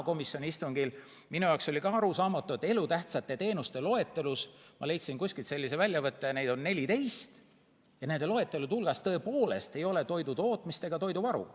Komisjoni istungil oli ka minu jaoks arusaamatu, et elutähtsate teenuste loetelus – ma leidsin kuskilt sellise väljavõtte, et neid teenuseid on 14 – tõepoolest ei ole toidutootmist ega toiduvaru.